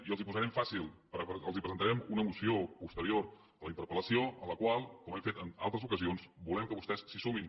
i els ho posarem fàcil presentarem una moció posterior a la interpel·lació a la qual com hem fet en altres ocasions volem que vostès se sumin